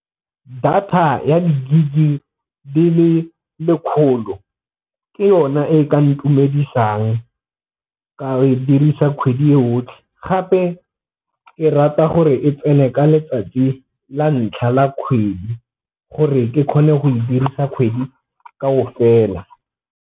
Data ya di-gig di le le kgolo ke yona e ka ntumedisang ka e dirisa kgwedi e yotlhe, gape ke rata gore e tsene ka letsatsi la ntlha la kgwedi gore ke kgone go e dirisa kgwedi .